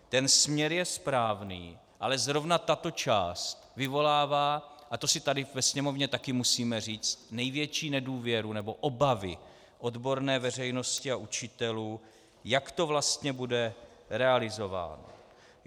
Ten směr je správný, ale zrovna tato část vyvolává, a to si tady ve Sněmovně taky musíme říct, největší nedůvěru nebo obavy odborné veřejnosti a učitelů, jak to vlastně bude realizováno.